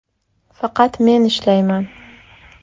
Faqat men ishlayman.